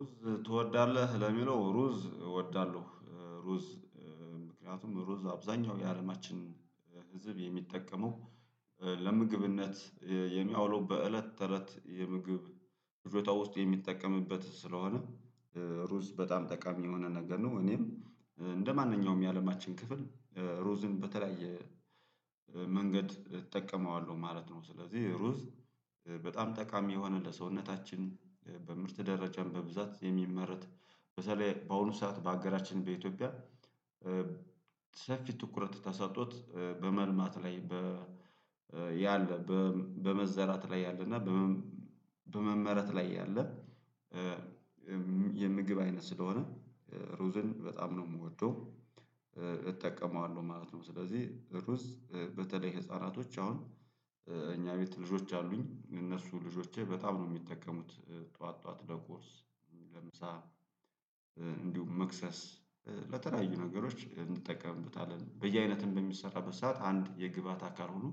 ሩዝ ትወዳለህ ለሚለው ሩዝ እወዳለሁ። ሩዝ ምክንያቱም ሩዝ አብዛኛው የአለማችን ህዝብ የሚጠቀመው ለምግብነት የሚያውለው በእለት ተእለት የምግብ ፍጆታ ውስጥ የሚጠቀምበት ስለሆነ ሩዝ በጣም ጠቃሚ የሆነ ነገር ነው እኔም እንደማንኛውም የአለማችን ክፍል ሮዝን በተለያየ መንገድ እጠቀመዋለሁ ማለት ነው። ስለዚህ ሩዝ በጣም ጠቃሚ የሆነ ለሰውነታችን በምርት ደረጃም በብዛት የሚመረት በተለይ በአሁኑ ሰዓት በአገራችን በኢትዮጵያ ሰፊ ትኩረት ተሰጥቶት በመልማት ላይ በ ያለ በመዘራት ላይ ያለ እና በመመረት ላይ ያለ የምግብ አይነት ስለሆነ ሩዝን በጣም ነው የምወደው እጠቀመዋለሁ ማለት ነው። ስለዚህ ሩዝ በተለይ ህፃናቶች አሁን እኛ ቤት ልጆች አሉኝ እነሱ ልጆቼ በጣም ነው የሚጠቀሙት ጠዋት ጠዋት ለቁርስ ለምሳ እንዲሁም መክሰስ ለተለያዩ ነገሮች እንጠቀምበታለን በየአይነት በሚሰራበት ሰዓት አንድ የግብአት አካል ሆኖ